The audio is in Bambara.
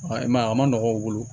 I m'a ye a ma nɔgɔn u bolo